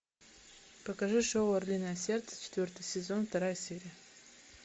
покажи шоу орлиное сердце четвертый сезон вторая серия